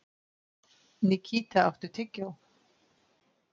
Nikíta, áttu tyggjó?